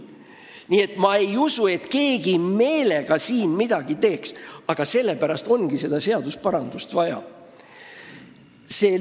Nii et ma ei usu, et keegi siin midagi meelega teeb, aga sellepärast ongi seda seadusparandust vaja.